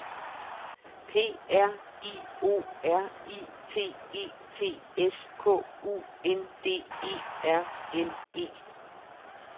P R I O R I T E T S K U N D E R N E